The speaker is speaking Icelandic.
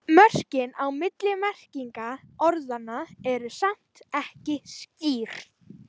Mörkin á milli merkinga orðanna eru samt ekki skýr.